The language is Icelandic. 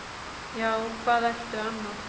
Já, hvað ertu annað?